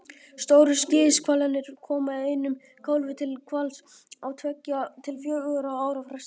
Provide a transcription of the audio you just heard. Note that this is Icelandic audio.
Stóru skíðishvalirnir koma einum kálfi til hvals á tveggja til fjögurra ára fresti.